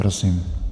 Prosím.